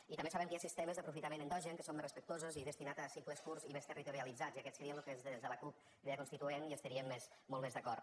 i també sabem que hi ha sistemes d’aprofitament endogen que són més respectuosos i destinats a cicles curts i més territorialitzats i aquests serien amb los que des de la cup crida constituent hi estaríem molt més d’acord